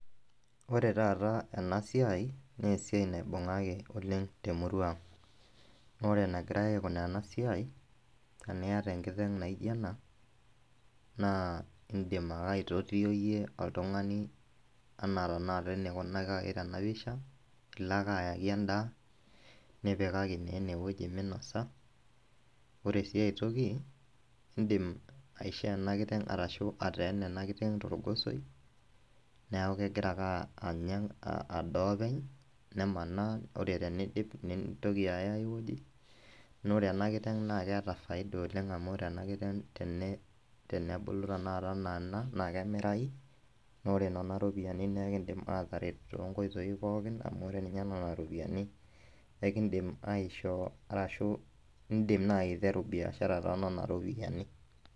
Ore taata ena siai na esiai naibungaki oleng temurua aang ,na ore enegirai aikunaa enasia teniata enkiteng naijo ena na indim akeyie aitotio oltungani anaa tanakata enikunakaki tenapisha, ilo ake ayaki endaa nipikaki naa enewueji minosa ore si aitoki indim aishoo enakiteng ashu ateena enakiteng torgosoi neaku kegira ake adaa openy, nemanaa ore peidip nitoki aya aai wueji, na ore enakiteng na keata faida oleng amu ten bulu tanakata ana ena na kemirai na ore nona ropiyiani na kidim ataret tonkoitoi pookin amu ore nona ropiyiani ekindim aishoo ashu indim nai aiteru biashara tonona ropiyani.